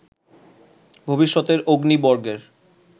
ভবিষ্যতের অগ্নি বর্গের